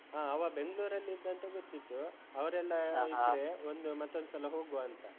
ಹಾ ಅವ ಬೆಂಗ್ಳೂರಲ್ಲಿ ಇದ್ದ ಅಂತ ಗೊತ್ತಿತ್ತು. ಅವ್ರೆಲ್ಲ ಇದ್ರೆ ಒಂದು ಮತ್ತೊಂದ್ ಸಲ ಹೋಗ್ವಾ ಅಂತ.